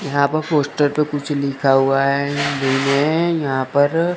यहां पर पोस्टर पे कुछ लिखा हुआ है हिंदी में यहां पर--